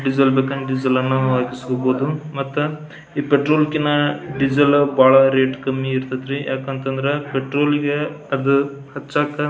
diesel ಬೇಕಂದ್ರ diesel ಅನ್ನ ಹಾಕಿಸ್ಕೊಬಹುದು ಮತ್ತ ಈ ಪೆಟ್ರೋಲ್ ಕಿನ್ನ ಡೀಸೆಲ್ ಬಹಳ ರೇಟ್ ಕಮ್ಮಿ ಇರತೈತರೀ ಯಾಕಂದ್ರ ಪೆಟ್ರೋಲ್ ಅದು ಹಚ್ಚಾಕ--